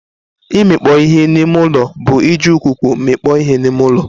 Imikpo ihe n'ime ụlọ bụ iji ikuku mikpọ ihe n'ime ụlọ.